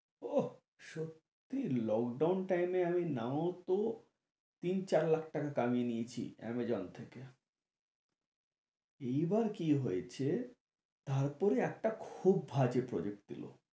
ওহ সত্যি lockdown time এ আমি নাও তো তিন চার লাখ টাকা কামিয়ে নিয়েছি আমাজন থেকে এই বার কি হয়েছে তার পরে একটা খুব বাজে project দিলো